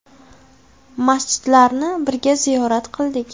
Masjidlarni birga ziyorat qildik.